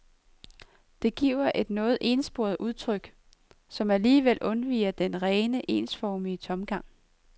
Det giver et noget ensporet udtryk, som alligevel undviger den rene, ensformige tomgang.